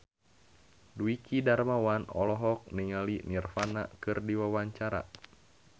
Dwiki Darmawan olohok ningali Nirvana keur diwawancara